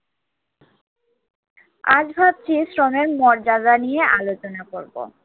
আজ ভাবছি শ্রমের মর্যাদা নিয়ে আলোচনা করবো।